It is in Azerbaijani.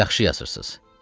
Yaxşı yazırsız.